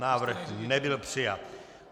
Návrh nebyl přijat.